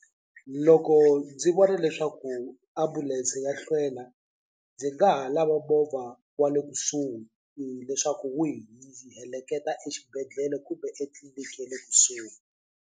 Loko ndzi vona leswaku ambulense ya hlwela ndzi nga ha lava movha wa le kusuhi leswaku wu hi heleketa exibedhlele kumbe etliniki ya le kusuhi.